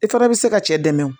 I fana bɛ se ka cɛ dɛmɛ o